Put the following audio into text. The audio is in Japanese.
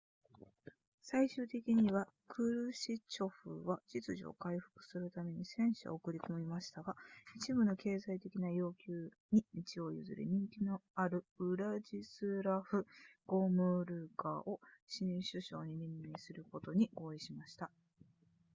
最終的にはクルシチョフは秩序を回復するために戦車を送り込みましたが一部の経済的な要求に道を譲り人気のあるウラジスラフゴムルカを新首相に任命することに合意しました